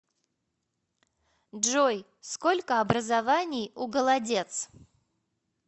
джой сколько образований у голодец